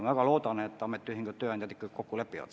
Ma väga loodan, et ametiühingud ja tööandjad ikka lepivad selle kokku.